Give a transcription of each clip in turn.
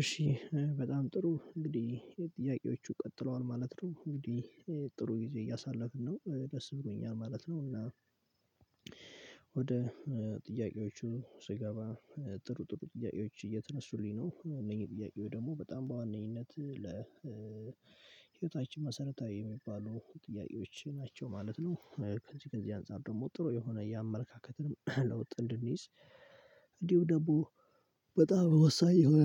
እሺ በጣም ጥሩ እንግዲህ ጥያቄዎቹ ቀጥለዋል ማለት ነው እንግዲህ ጥሩ ጊዜ እያሳለፍን ነው ደስ ብሎኛል ማለት ነው። እና ወደ ጥያቄዎቹ ስገባ ጥሩ ጥሩ ጥያቄዎች እየተነሱልኝ ነው እነዚህ ጥያቄው ደግሞ በጣም በዋነኝነት ለ መሰረታዊ የሚባሉ ጥያቄዎች ናቸው ማለት ነው። ከዚህ ከዚህ አንፃር ደግሞ ጥሩ የሆነ የአመለካከትንም ለውጥ እንድንይዝ እንዲሁ ደግሞ በጣም ወሳኝ የሆነ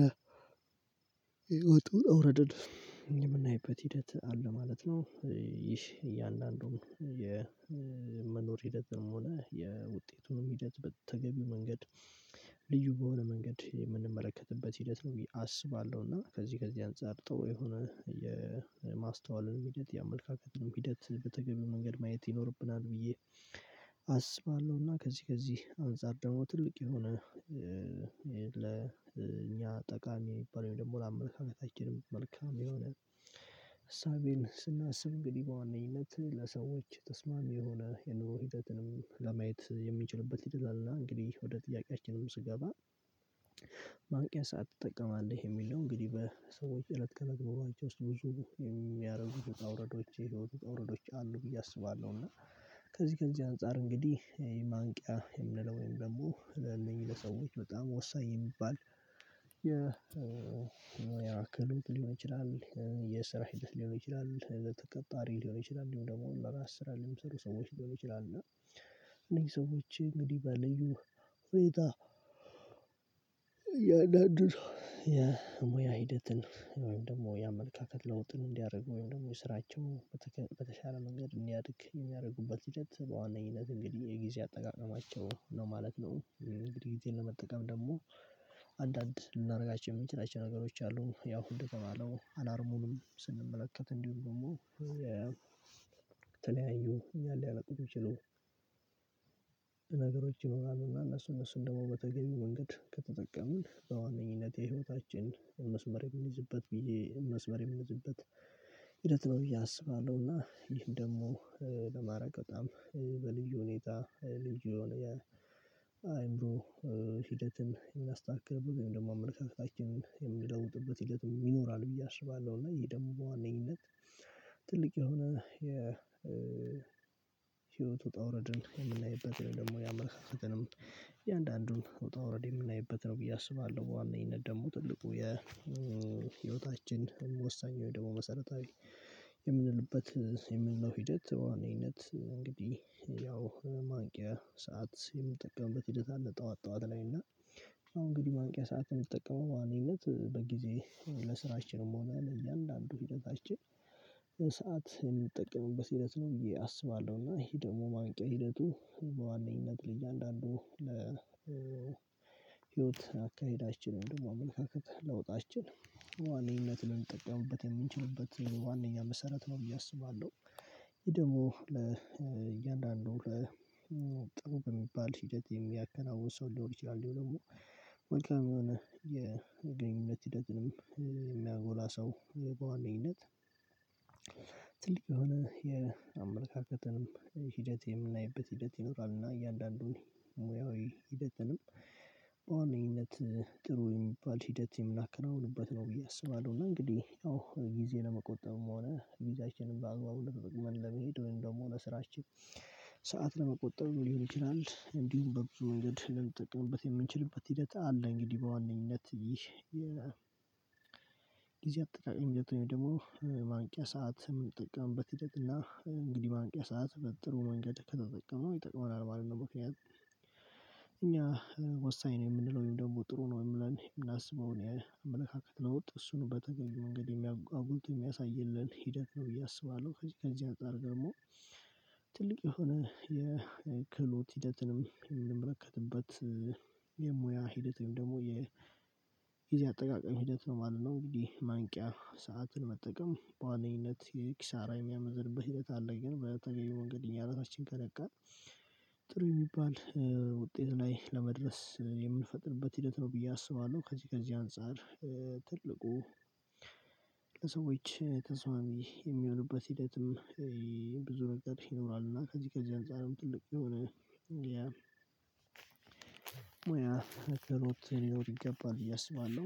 የወጡ እውረደድ የምናይበት ሂደት አለ ማለት ነው። ይህ እያንዳንዱም የመኖር ሂደት ደግሞ ነው የውጤቱንም ሂደት በተገቢው መንገድ በሆነ መንገድ የምንመለከትበት ሂደት ነው ብዬ አስባለሁ። እና ከዚህ ከዚህ አንፃር ብጦ የሆነ ሂደት የአመለካከትን ሂደት በተገኘ መንገድ ማየት ይኖርብናል ብዬ አስባለሁና። ከዚህ ከዚህ አንፃር ደግሞ ትልቅ የሆነ ለኛ ጠቃሚ የሚባለው ደግሞ ለአመለካከታችንም መልካም የሆነ እሳቤን ስናስብ እንግዲህ በዋነኝነት ለሰዎች ተስማሚ የሆነ የኑሮ ሂደትንም ለማየት የሚችሉበት ሂደት አለና እንግዲህ ወደ ጥያቄያችንም ስገባ። ማንቂያ ሰዓት ትጠቀማለህ የሚል ነው እንግዲህ በሰዎች እለት ከለግበሯቸው ውስጥ ብዙ የሚያረጉት ውጣ ውረዶች የሚያረጉት ውረዶች አሉ ብዬ አስባለሁ። እና ከዚህ ከዚህ አንፃር እንግዲህ የማንቂያ የምንለው ወይም ደግሞ ለእነኚህ ለሰዎች በጣም ወሳኝ የሚባል የ ያክል ሊሆን ይችላል የሰራዊት ሊሆን ይችላል ተቀጣሪ ሊሆን ይችላል ደግሞ ለራስ ስራ ልምሰሩ ሰዎች ሊሆኑ ይችላሉ። እና እነዚህ ሰዎች እንግዲህ በልዩ ፍሬታ እያንዳንዱን የሙያ ሂደትን ወይም ደግሞ የአመለካከት ለውጥን እንዲያደርጉ ወይም ደግሞ የስራቸው በተሻለ መንገድ እንዲያድግ የሚያደርጉበት ሂደት በዋነኝነት እንግዲህ የጊዜ አጠቃቀማቸው ነው ማለት ነው። እንግዲህ ጊዜ ለመጠቀም ደግሞ አንዳንድ ልናደርጋቸው የምንችላቸው ነገሮች አሉ ያው ደግሞ አላርሙንም ስንመለከት እንዲሁ ደግሞ ተለያዩ እያለ ያለቀቁ ችሎ ነገሮች ይኖራሉ። እና እነሱ እነሱን ደግሞ በተገቢው መንገድ ከተጠቀሙን በዋነኝነት የህይወታችን መስመር የሚይዝበት ብዬ መስመር የሚይዝበት ሂደት ነው ብዬ አስባለሁ። እና ይህን ደግሞ ለማድረግ በጣም በልዩ ሁኔታ ልዩ የሆነ የአእምሮ ሂደትን የምናስተካክልበት ወይም ደግሞ አመለካከታችንን የሚለውጥበት ሂደትም ይኖራል ብዬ አስባለሁ። እና ይሄ ደግሞ በዋነኝነት ትልቅ የሆነ የ ህይወት ውጣ ውረድን የምናይበት ነው ደግሞ ያመለካከትንም እያንዳንዱን ውጣ ውረድ የምናይበት ነው ብዬ አስባለሁ። በዋነኝነት ደግሞ ትልቁ የ ህይወታችን ወሳኝ ወይ ደግሞ መሰረታዊ የምንልበት የምንለው ሂደት በዋነኝነት እንግዲህ ያው ማንቂያ ሰዓት የምጠቀምበት ሂደት አለ ጠዋት ጠዋት ላይ እና አሁን እንግዲህ ማንቂያ ሰዓት የምጠቀመው በዋነኝነት እንግዲህ በጊዜ ለስራችንም ሆነ ለእያንዳንዱ ሂደታችን ሰዓት የምጠቀምበት ሂደት ነው። እዬ አስባለሁ እና ይሄ ደግሞ የማንቂያ ሂደቱ በዋነኝነት ለእያንዳንዱ ለህይወት አካሄዳችንን ደግሞ አመለካከት ለውጣችን በዋነኝነት ልንጠቀምበት የምንችልበት ዋነኛ መሰረት ነው ብዬ አስባለሁ። ይሄ ደግሞ ለእያንዳንዱ ለጥሩ በሚባል ሂደት የሚያከናውን ሰው ሊሆን ይችላል ደግሞ መልካም የሆነ የጓደኝነት ሂደትንም የሚያጎላ ሰው በዋነኝነት ትልቅ የሆነ የአመለካከትንም ሂደት የምናይበት ሂደት ይኖራል እና እያንዳንዱን ሙያዊ ሂደትንም በዋነኝነት ጥሩ የሚባል ሂደት የምናከናውንበት ነው ብዬ አስባለሁ። እና እንግዲህ ያው ጊዜ ለመቆጠብም ሆነ ጊዜያችንን በአግባቡ ለመሄድ ወይም ደግሞ ለስራችን ሰዓት ለመቆጠብ ሊሆን ይችላል በብዙ ወንጌል ልንጠቀምበት የምንችልበት ሂደት አለ። እንግዲህ በዋነኝነት ይህ ጊዜ አጠቃላይ ደግሞ ማንቂያ ሰዓት የምንጥቅምበት ህደት እና እንግዲህ ማንቂያ ሰዓት በጥሩ መንገድ ከተጠቀምን የተቀመጠው አርባ አለመኪና እኛ ወሳኝ ነው የምንለው ደግሞ ጥሩ ነው የምለው የምናስበው አመለካከት ለውጥ እሱን በተገኘ መንገድ ኣጉልቶ የሚያሳይልን ሂደት ነው ብዬ አስባለሁ። ከዚህ ከዚህ አንፃር ር ደግሞ ትልቅ የሆነ የክህሎት ሂደትንም እንመረከትበት የሙያ ሂደት ወይም ደግሞ የጊዜ አጠቃቀም ሂደት ነው ማለት ነው። እንግዲህ ማንቂያ ሰዓትን መጠቀም በዋነኝነት የኪሳራ የሚያመዝንበት ሂደት አለ ግን በተገየመው እንግዲህ እኛ እርሶችን ከነቃን ጥሩ የሚባል ውጤት ላይ ለመድረስ የምንፈጥርበት ሂደት ነው ብዬ አስባለሁ። ከዚህ ከዚህ አንፃር ትልቁ ለሰዎች ተስማሚ የሚሆንበት ሂደትም ብዙ ነገር ይኖራል እና ከዚህ ከዚህ አንፃርም ትልቅ የሆነ ሙያ ትርጉም ይገባል ብዬ አስባለሁ